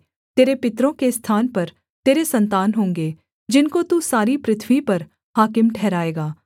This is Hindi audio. तेरे पितरों के स्थान पर तेरे सन्तान होंगे जिनको तू सारी पृथ्वी पर हाकिम ठहराएगा